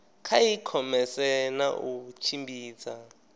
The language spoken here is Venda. kha ikhomese na u tshimbidza